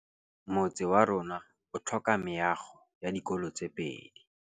Motse warona o tlhoka meago ya dikolô tse pedi.